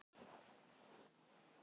Hinkraðu aðeins og syngdu eitt lag enn.